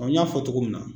n y'a fɔ cogo min na